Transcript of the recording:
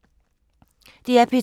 DR P2